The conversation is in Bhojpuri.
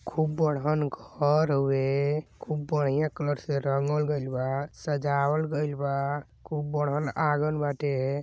खूब बड़हन घर हउवे। खूब बढ़िया कलर से रंग गईल बा सजल गईल बा। खूब बड़हन आँगन बाटे।